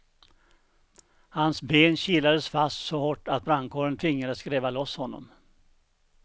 Hans ben kilades fast så hårt att brandkåren tvingades gräva loss honom.